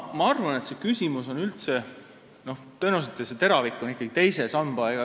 Ma arvan, et selle küsimuse teravik on tõenäoliselt suunatud ikkagi pensioni teisele sambale.